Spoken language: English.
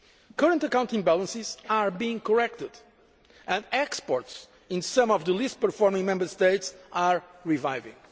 Current account imbalances are being corrected, and exports in some of the least well performing Member States are reviving.